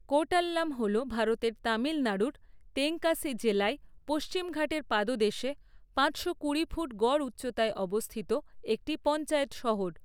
কোর্টাল্লাম হল ভারতের তামিলনাড়ুর তেঙ্কাসি জেলায় পশ্চিমঘাটের পাদদেশে পাঁচ শো কুড়ি ফুট গড় উচ্চতায় অবস্থিত একটি পঞ্চায়েত শহর।